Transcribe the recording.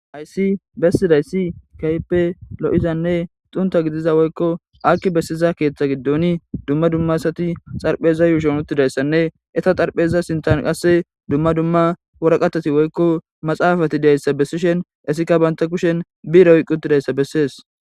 Hayssi bessida issi keeyipe lo'izanne xunta gidiza woykko akki bessiza keeththa giddon dumma dumma asati xarpheza yuushon uttida issanne eta xarpheza sintan qasse dumma dumma woraqatati woykko maxaafati diya issa bessishen istika banta kushen bire oyqqidi diza issa bessees.